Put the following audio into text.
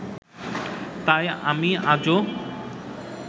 তাই আমি আজও